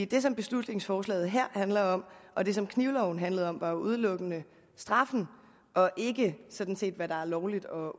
det som beslutningsforslaget her handler om og det som knivloven handlede om var jo udelukkende straffen og sådan set ikke hvad der er lovligt og